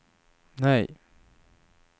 nej